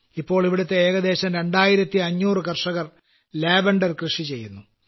ഇപ്പോൾ ഇവിടത്തെ ഏകദേശം 2500 കർഷകർ ലാവണ്ടർ കൃഷി ചെയ്യുന്നു